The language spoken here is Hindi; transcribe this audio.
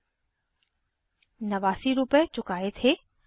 89 नवासी रुपए चुकाये थे